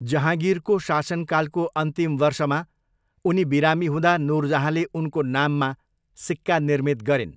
जहाँगिरको शासनकालको अन्तिम वर्षमा उनी बिरामी हुँदा नुरजहाँले उनको नाममा सिक्का निर्मित गरिन्।